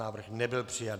Návrh nebyl přijat.